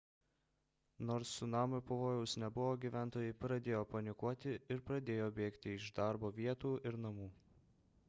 nors cunamio pavojaus nebuvo gyventojai pradėjo panikuoti ir pradėjo bėgti iš darbo vietų ir namų